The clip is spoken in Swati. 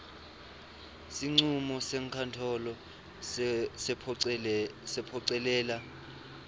sincumo senkantolo sekuphocelela